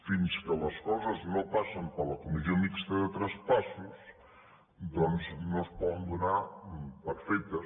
fins que les coses no passen per la comissió mixta de traspassos doncs no es poden donar per fetes